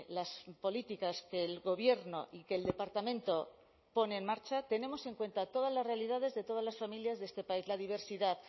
las políticas que el gobierno y que el departamento pone en marcha tenemos en cuenta todas las realidades de todas las familias de este país la diversidad